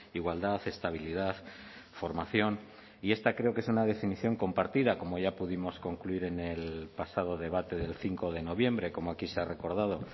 igualdad estabilidad formación y esta creo que es en la definición compartida como ya pudimos concluir en el pasado debate del cinco de noviembre como aquí se ha recordado